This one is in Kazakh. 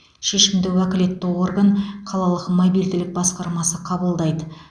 шешімді уәкілетті орган қалалық мобильділік басқармасы қабылдайды